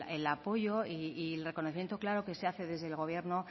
el apoyo y el reconocimiento claro que se hace desde el gobierno